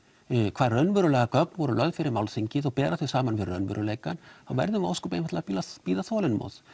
hvaða raunverulegu gögn voru fyrir málþingið og berum þau saman við raunveruleikann þá verðum við ósköp einfaldlega að bíða þolinmóð